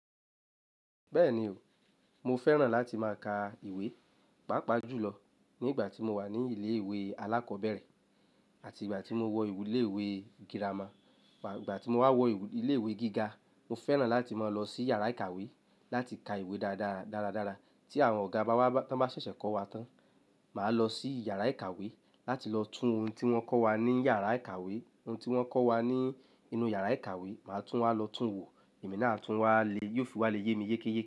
Bẹ́ẹ̀ni o, mo fẹ́ràn láti má ka ìwé, pàápàá jùlọ ní ìgbà tí mo wà ní ilé ìwé alákọ̀ọ́bẹ̀rẹ̀ àti ìgbà tí mo wọ ìwé ilé ìwé girama. Ìgbà tí mo wà wọ ìwé ilé ìwé gíga, mo fẹ́ràn láti má lọ sí yàrá ìkàwé láti ka ìwé dára dára dára tí àwọn ọ̀gá bá ṣẹ̀ṣẹ̀ kọ́ wa tán. Màá lọ sí yàrá ìkàwé láti lọ tún ohun tí wọ́n kọ́ wa ní yàrá ìkàwé, ohun tí wọ́n kọ́ wa ní inú yàrá ìkàwé, màá tún wá lọ tún wò, èmi náà tún wá lè yóò fi wá lè yé mi yékéyéke.